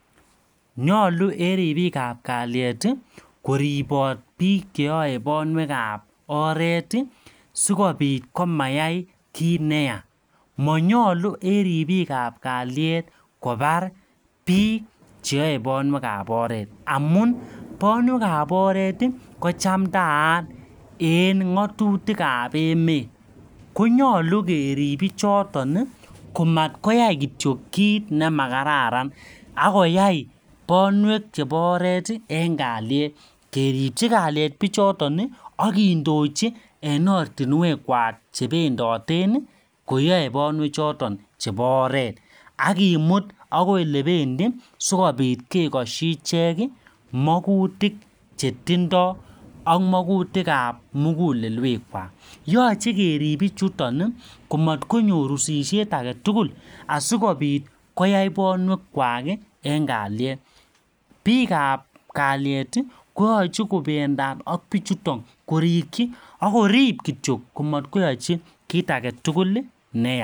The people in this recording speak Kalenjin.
nyolu en ribikab kalyet ii koribot biik cheyoe bonwek ab oret ii sikopit komayai kit neya monyolu en ribikab kalyet kobar biik cheyoe bonwek ab oret amun bonwek ab oret kochamndaat en ng'otutik ab emet konyolu kerib bichoton ii komatkoyai kit nemakararan ak koyai bonwek chepo oreti en kalyet keripchi kalyet pichoton akindochi en ortinwek kwak chependoten ii koyoe bonwek choton chepo oret akimut akoi elependi sikopit kekoshi ichek makutik chetindo ak makutik ab mugulelwekwak yoche kerib pichuton komotkonyor usishet aketugul asikopit koyai bonwek kwak ii en kalyet biik ab kalyet koyoche kobendat ak bichuton korikyi akorip kityok komot koyochi kit agetugul neya